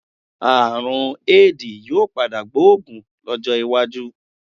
Àrùn Éèdì yóò padà gbóògùn lọ́jọ́ iwájú.